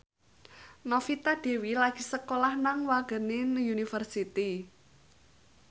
Novita Dewi lagi sekolah nang Wageningen University